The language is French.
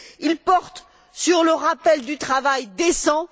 Ils portent sur le rappel du travail décent.